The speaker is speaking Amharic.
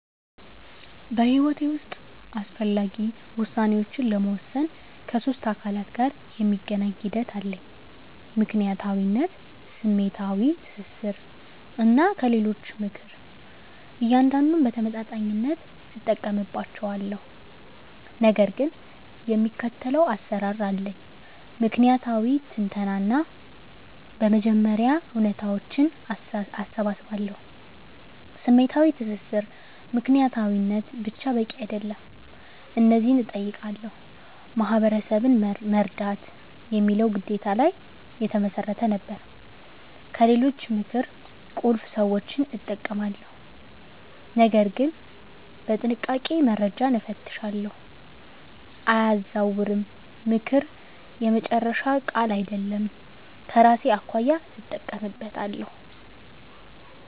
በሕይወቴ ውስጥ አስፈላጊ ውሳኔዎችን ለመወሰን ከሶስት አካላት ጋር የሚገናኝ ሂደት አለኝ፦ ምክንያታዊነት፣ ስሜታዊ ትስስር፣ እና ከሌሎች ምክር። እያንዳንዱን በተመጣጣኝነት እጠቀምባቸዋለሁ፣ ነገር ግን የሚከተለው አሰራር አለኝ። ምክንያታዊ ትንተና በመጀመሪያ እውነታዎችን እሰባስባለሁ። #ስሜታዊ ትስስር ምክንያታዊነት ብቻ በቂ አይደለም። እነዚህን እጠይቃለሁ፦ "ማህበረሰብን መርዳት" የሚለው ግዴታ ላይ የተመሰረተ ነበር። #ከሌሎች ምክር ቁልፍ ሰዎችን እጠቀማለሁ፣ ነገር ግን በጥንቃቄ፦ - መረጃን እፈትሻለሁ፣ አያዛውርም፦ ምክር የመጨረሻ ቃል አይደለም፤ ከራሴ አኳያ እጠቀምበታለሁ።